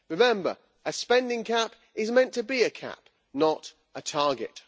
Remember a spending cap is meant to be a cap, not a target.